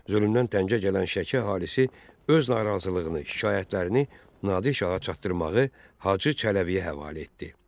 Zülmdən təngə gələn Şəki əhalisi öz narazılığını, şikayətlərini Nadir şaha çatdırmağı Hacı Çələbiyə həvalə etdi.